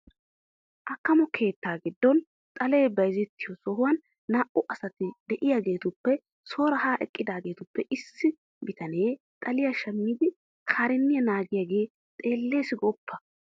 Akkamo keettaa giddon xalee bayzettiyo sohuwan naa"u asati de'iyageetuppe soora haa eqqidaagaappe issi bitanee xaliya shammidi kaarinniya naagiyagee xeellees gooppa!